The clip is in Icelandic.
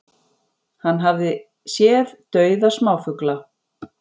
Hann hafi séð dauða smáfugla